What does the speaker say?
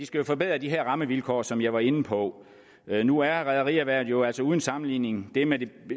skal forbedre de her rammevilkår som jeg var inde på nu er rederierhvervet jo altså uden sammenligning det med de